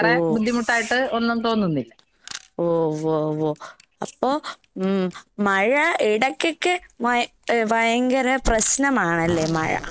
ഓഹോ. ഓ വോ വോ. അപ്പൊ ഉം മഴ ഇടയ്ക്കൊക്കെ മയ് എഹ് ഭയങ്കര പ്രശ്നമാണല്ലേ മഴ?